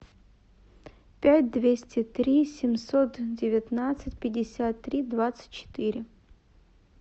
пять двести три семьсот девятнадцать пятьдесят три двадцать четыре